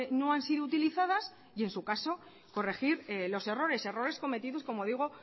no han sido utilizadas y en su caso corregir los errores errores cometido como digo